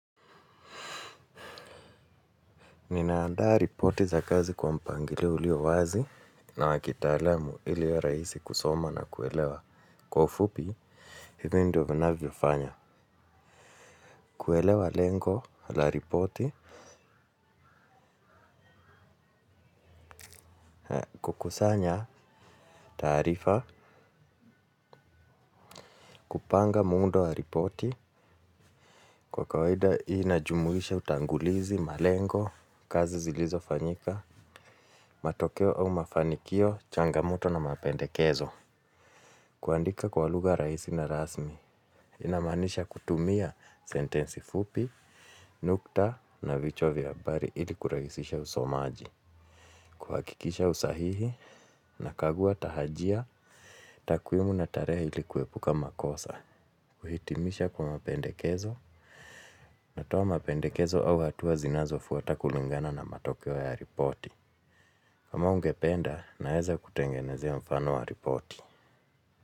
Ninaandaa ripoti za kazi kwa mpangilio ulio wazi na wakitalaamu ilio raisi kusoma na kuelewa kwa ufupi, hivyo ndio vinavyo fanya. Kuelewa lengo la ripoti, kukusanya taarifa, kupanga muundo wa ripoti, kwa kawaida inajumuisha utangulizi malengo, kazi zilizo fanyika, matokeo au mafanikio, changamoto na mapendekezo. Kuandika kwa lugha raisi na rasmi, inamanisha kutumia sentensi fupi, nukta na vichwa vya habari ili kuraisisha usomaji, kuhakikisha usahihi nakagua tahajia, takwimu na tareha ili kuepuka makosa, kuhitimisha kwa mapendekezo, natoa mapendekezo au hatuwa zinazo fuwata kulingana na matokeo ya ripoti. Kama ungependa, naeza kutengenezia mfano wa ripoti.